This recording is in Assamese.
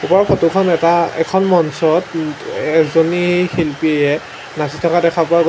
ওপৰৰ ফটো খন এটা এখন মঞ্চত উম এজনী শিল্পীয়ে নাচি থকা দেখা পোৱা গৈ--